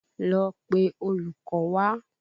Lọ pé olùkọ́ wá!